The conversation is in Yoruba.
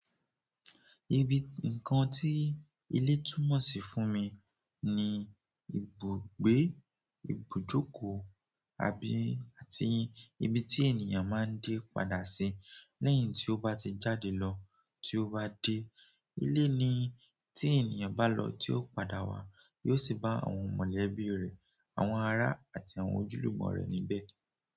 Ibi nǹkan tí ilé túmọ̀ sí fún mi ni ibùgbé, ibùjókòó àbí àti ibi tí ènìyàn máa ń dé padà sí lẹ́yìn tí ó bá ti jáde lọ. Tí ó bá dé, ilé ni tí ènìyàn bá lọ tí ó padà wá, yóò sì bá àwọn mọ̀lẹ́bí rẹ̀, àwọn ará àti àwọn ojúlùmọ̀ rẹ̀ níbẹ̀.